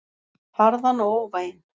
Harðan og óvæginn.